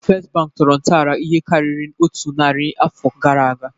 First Bank tọrọ ntọala ihe karịrị otu narị afọ gara aga